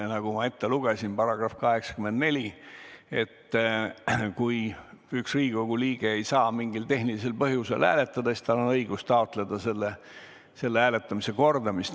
Nagu ma ette lugesin, § 84 ütleb, et kui üks Riigikogu liige ei saa mingil tehnilisel põhjusel hääletada, siis tal on õigus taotleda hääletamise kordamist.